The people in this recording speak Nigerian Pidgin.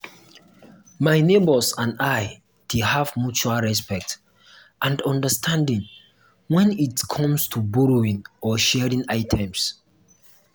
my neighbors and i dey have mutual respect and understanding when it come to borrowing or sharing items.